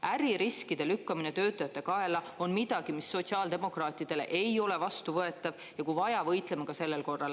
Äririskide lükkamine töötajate kaela on midagi, mis sotsiaaldemokraatidele ei ole vastuvõetav, ja kui vaja, võitleme ka sellel korral.